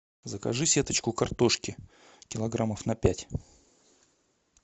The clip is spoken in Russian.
закажи сеточку картошки килограммов на пять